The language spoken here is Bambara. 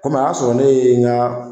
o y'a sɔrɔ ne ye n ka